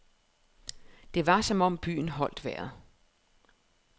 Det var som om byen holdt vejret.